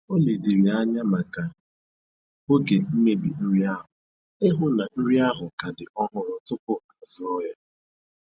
O leziri anya maka oge mmebi nri ahụ ịhụ na nri ahụ ka dị ọhụrụ tupu azụọ ya